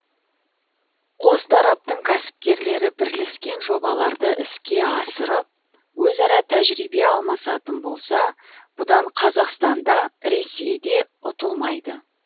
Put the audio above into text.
қос тараптың кәсіпкерлері бірлескен жобаларды іске асырып өзара тәжірибе алмасатын болса бұдан қазақстан да ресей де ұтылмайды